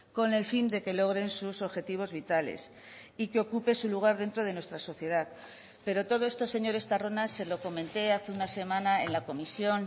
con el fin de que logren sus objetivos vitales y que ocupe su lugar dentro de nuestra sociedad pero todo esto señor estarrona se lo comenté hace una semana en la comisión